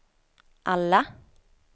alla